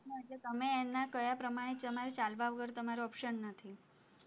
તમે એના કહ્યા પ્રમાણે તમારે ચાલ્યા વગર તમારે option નથી